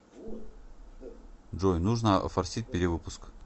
джой нужно офорсить перевыпуск